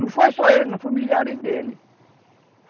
Não foi só ele, foram milhares dele.